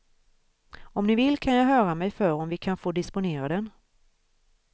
Om ni vill kan jag höra mig för om vi kan få disponera den.